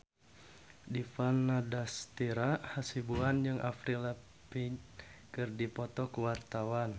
Dipa Nandastyra Hasibuan jeung Avril Lavigne keur dipoto ku wartawan